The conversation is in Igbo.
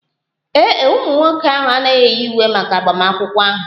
Ee e, ụmụ nwoke ahụ anaghị eji uwe maka agbamakwụkwọ ahụ